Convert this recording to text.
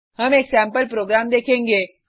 हम एक sample program देखेंगे